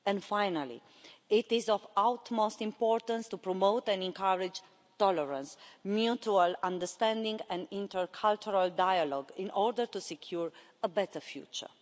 Finally, it is of the utmost importance to promote and encourage tolerance, mutual understanding and intercultural dialogue in order to secure a better future.